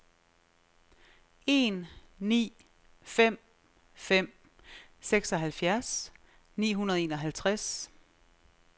en ni fem fem seksoghalvfjerds ni hundrede og enoghalvtreds